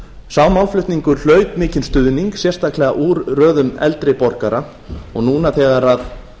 sá málflutningur hlaut mikinn stuðning sérstaklega úr röðum eldri borgara og núna þegar